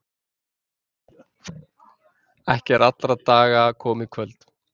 Ekki er allra daga komið kvöld.